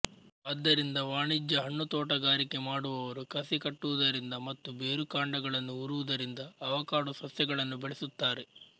ಆದ್ದರಿಂದ ವಾಣಿಜ್ಯ ಹಣ್ಣುತೋಟಗಾರಿಕೆ ಮಾಡುವವರು ಕಸಿ ಕಟ್ಟುವುದರಿಂದ ಮತ್ತು ಬೇರುಕಾಂಡಗಳನ್ನು ಊರುವುದರಿಂದ ಆವಕಾಡೊ ಸಸ್ಯಗಳನ್ನು ಬೆಳೆಸುತ್ತಾರೆ